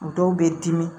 Dɔw bɛ dimi